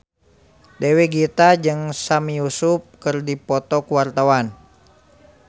Dewi Gita jeung Sami Yusuf keur dipoto ku wartawan